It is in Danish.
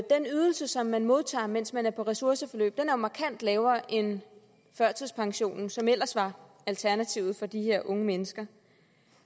ydelse som man modtager mens man er på ressourceforløb er jo markant lavere end førtidspensionen som ellers var alternativet for de her unge mennesker